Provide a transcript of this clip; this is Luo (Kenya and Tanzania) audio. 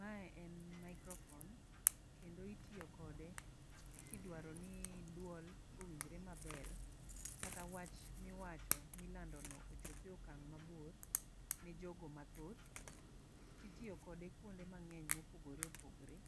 Mae en microphone kendo itiyo kode kidwaro ni duol owinjre maber kata wach miwacho milando no ochope okang' mabor ne jogo mathoth. Titiyo kode kuonde mang'eny mopogre opogore